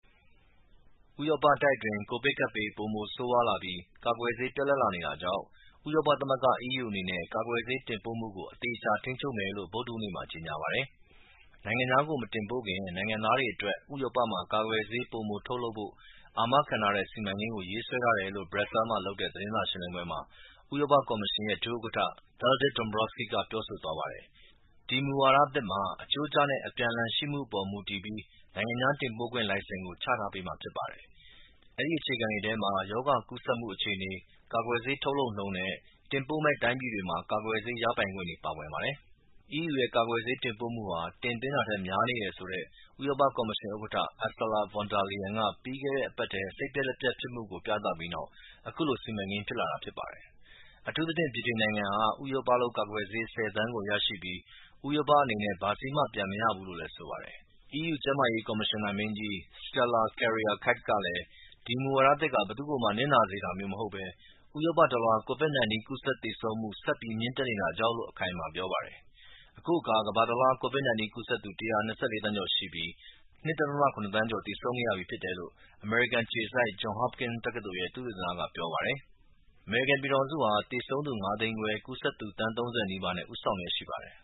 ဥရောပတိုက်အတွင်း ကိုဗစ်ကပ်ဘေး ပိုမိုဆိုးဝါးလာပြီး ကာကွယ်ဆေးပြတ်လပ်လာနေတာကြောင့် ဥရောပသမဂ္ဂ EU အနေနဲ့ကာကွယ်ဆေးတင်ပို့မှုကို အသေအချာထိန်းချုပ်မယ်လို့ ဗုဒ္ဓဟူးနေ့မှာ ကြေညာပါတယ်။ နိုင်ငံခြားကို မတင်ပို့ခင် နိုင်ငံသားတွေအတွက် ဥရောပမှာ ကာကွယ်ဆေး ပိုမိုထုတ်လုပ်ဖို့ အာမခံတဲ့ စီမံကိန်းရေးဆွဲထားတယ်လို့Brussels မှာလုပ်တဲ့ သတင်းစာရှင်းလင်းပွဲမှာ ဥရောပကော်မရှင်ရဲ့ ဒုဥက္ကဌ Valdis Dombrovskis ပြောဆိုသွားပါတယ်။ ဒီမူဝါဒသစ်မှာ အချိုးကျနဲ့အပြန်အလှန်ရှိမှုအပေါ်မူတည်ပြီး နိုင်ငံခြား တင်ပို့ခွင့် လိုင်စင်ချထားပေးမှာ ဖြစ်ပါတယ်။ အဲဒီအခြေခံတွေထဲမှာ ရောဂါကူးစက်မှုအခြေအနေ၊ ကာကွယ်ဆေး ထုတ်လုပ်မှုနှုန်း နဲ့တင်ပို့မယ့်တိုင်းပြည်တွေမှာ ကာကွယ်ဆေး ရပိုင်ခွင့်တွေ ပါဝင်ပါတယ်။ EU ရဲ့ ကာကွယ်ဆေးတင်ပို့မှုဟာ တင်သွင်းတာထက်များနေတယ်ဆိုတဲ့ ဥရောပ ကော်မရှင် ဥက္ကဌ Ursula Von der Leyen က ပြီးခဲ့တဲ့ အပတ်ထဲ သူမရဲ့ စိတ်ပျက်လက်ပျက်ဖြစ်မှုကို ပြသပြီးနောက် အခုလို စီမံကိန်း ဖြစ်လာတာဖြစ်ပါတယ်။ အထူးသဖြင့် ဗြိတိန်နိုင်ငံဟာ ဥရောပလုပ်ကာကွယ်ဆေး ၁၀ သန်း ကို ရရှိပြီး ဥရောပအနေနဲ့ဘာဆေးမှ ပြန်မရဘူးလို့လည်း ဆိုပါတယ်။ EU ကျန်းမာရေး ကော်မရှင်နာမင်းကြီး Stella Kyriakides ကလည်း ဒီမူဝါဒသစ်ဟာ ဘယ်သူ့ကိုမှ ပြစ်ဒဏ်ပေးတာမျိူးမဟုတ်ပဲ ဥရောပတလွှား COVID-19 ကူးစက်သေဆုံးမှု ဆက်ပြီး မြင့်တက်နေတာကြောင့်လို့ အခိုင်အမာပြောပါတယ်။ ယခုအခါ ကမ္ဘာတလွှား COVID-19 ကူးစက်သူ ၁၂၄ သန်းကျော်ရှိပြီး ၂.၇ သန်းကျော် သေဆုံးခဲ့ရပြီ ဖြစ်တယ်လို့ အမေရိကန်အခြေစိုက် Johns Hopkins ရဲ့ သုတေသနဌာက ပြောပါတယ်။ အမေရိကန်ပြည်ထောင်စုဟာ သေဆုံးသူ ၅ သိန်းခွဲ ၊ ကူးစက်သူ သန်း ၃၀ နီးပါး နဲ့ဦးဆောင်လျက်ရှိပါတယ်